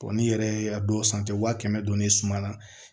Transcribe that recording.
n'i yɛrɛ ye a dɔw san wa kɛmɛ don ne ye suman na